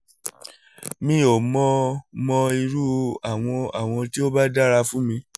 mi ò mọ mọ irú àwọ̀n àwọ̀n tí ó bá dára fún mi